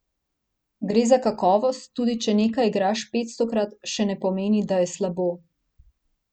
Gre za kakovost, tudi če nekaj igraš petstokrat, še ne pomeni, da je slabo.